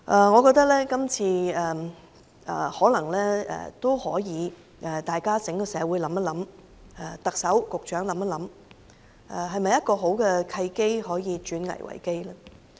我認為今次整個社會也可以想一想，特首和局長也想一想，這是否一個好的契機，可以轉危為機呢？